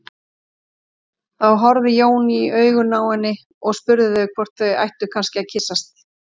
Þá horfði Jón í augun á henni og spurði hvort þau ættu kannski að kyssast.